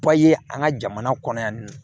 an ka jamana kɔnɔ yan nɔ